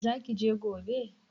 Zaki je gobe?